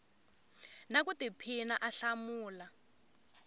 na ku tiphina a hlamula